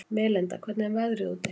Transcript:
Melinda, hvernig er veðrið úti?